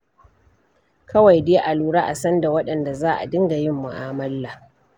Kawai dai a lura a san da waɗanda za a dinga yin mu'amala.